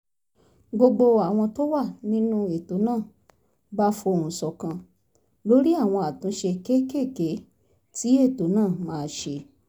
gbogbo àwọn tó wà nínú ètò náà bá fohùn ṣọ̀kan lórí àwọn àtúnṣe kéékèèké tí ètò náà máa ṣe